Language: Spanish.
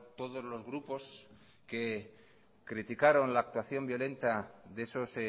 todos los grupos que criticaron la actuación violenta de esos